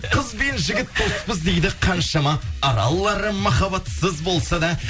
қыз бен жігіт доспыз дейді қаншама аралары махаббатсыз болса да